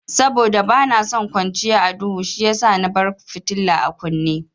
Saboda bana son kwanciya a duhu shiyasa na bar fitila a kunne.